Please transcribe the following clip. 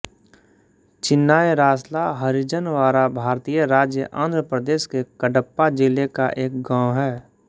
चिन्नायरासला हरिजनवाड़ा भारतीय राज्य आंध्र प्रदेश के कडप्पा जिले का एक गाँव है